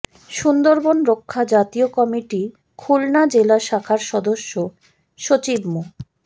সুন্দরবন রক্ষা জাতীয় কমিটি খুলনা জেলা শাখার সদস্য সচিব মো